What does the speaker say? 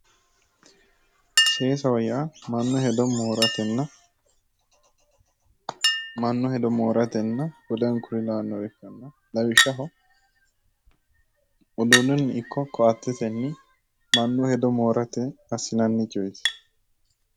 Sesaho yaa mannu hedo mooratenna woleno kuri lawannore ikkanna lawishshaho uduunnunni ikko ko'atetenni mannu hedo moorate assinanni coyeeti